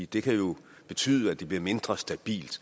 det kan jo betyde at det bliver mindre stabilt